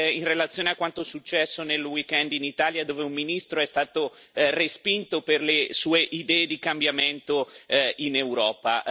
in relazione a quanto successo nel weekend in Italia, dove un ministro è stato respinto per le sue idee di cambiamento in Europa.